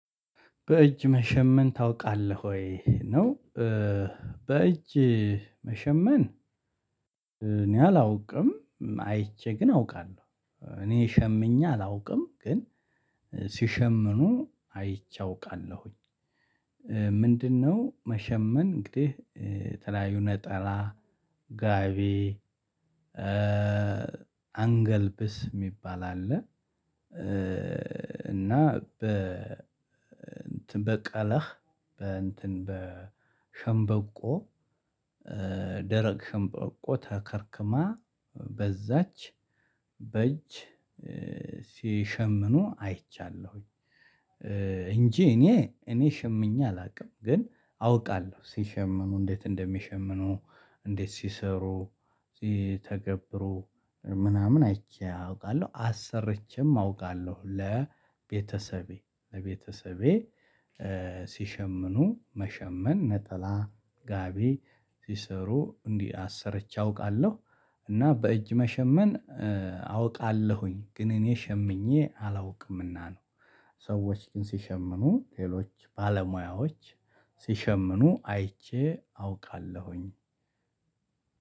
በእጅ መሸመን ታውቃለህ ወይ ነው? በእጅ መሸመን። እኔ አላውቅም አይቼ ግን አውቃለሁ እኔ ሸምኘ አላውቅም ግን ሲሸመኑ አይቼ አውቃለሁኝ። ምንድነው መሸመን እንግዲህ? የተለያዩ ነጠላ ጋቢ አንገልብስ የሚባል አለ። እና በቀለህ በእንትን በሸንበቆ ደረቅ ሸንበቆ ተከርክማ በዛች በእጅ ሲሸምኑ አይቻለሁኝ። እንጂ እኔ እኔ ሸምኝ አላውቅም ግን አውቃለሁ ሲሸምኑ እንዴት እንደሚሸምኑ እንዴት ሲሰሩ ሲተገብሩ ምናምን አይቼ አውቃለሁ አሰርቼም አውቃለሁ። ለቤተሰቤ ለቤተሰቤ ሲሸምኑ መሸመን ነጠላ ጋቢ ሲሰሩ እንዲህ አሰርቼ አውቃለሁ እና በእጅ መሸመን አውቃለሁኝ ግን እኔ ሸምኜ አላውቅምና ነው። ሰዎች ግን ሲሸምኑ ሌሎች ባለሙያዎች ሲሸምኑ አይቼ አውቃለሁኝ።